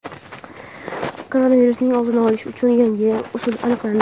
Koronavirusning oldini olish uchun yangi usul aniqlandi.